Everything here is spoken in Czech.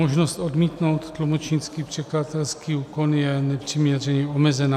Možnost odmítnout tlumočnický překladatelský úkon je nepřiměřeně omezena.